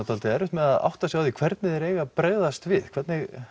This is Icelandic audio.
dálítið erfitt með að átta sig á því hvernig þeir eiga að bregðast við hvernig